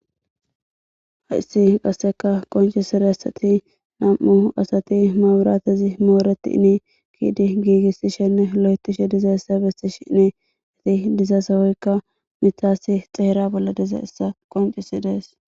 hayssi qasseka qonciseraysati nam'u asati maburatezi mooretini yidi giigissishenne holo'etishe dizayssa besishinni eti diza sohoykka mitaasi xeera bolla dizaysa qoncisides.